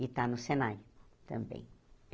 E está no Senai, também.